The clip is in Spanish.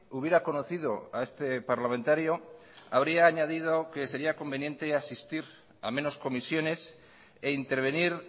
hubiera conocido a este parlamentario habría añadido que sería conveniente asistir a menos comisiones e intervenir